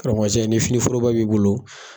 Karamɔgɔcɛ ni fini foroba b'i bolo